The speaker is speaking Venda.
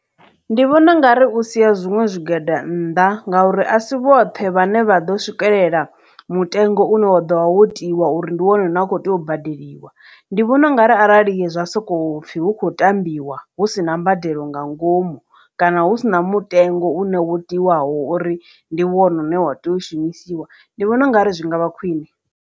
Ndi vhona u nga ri u sia zwiṅwe zwigwada nnḓa nga uri asi vhoṱhe vhane vha ḓo swikelela mutengo une wa ḓo vha wo tiwa uri ndi one na kho tea u badeliwa ndi vhona ungari arali ndi zwa soko pfhi hu khou tambiwa hu si na mbadelo nga ngomu kana hu sina mutengo une wo tiwaho uri ndi wone une wa tea u shumisiwa ndi vhona ungari zwi ngavha khwine.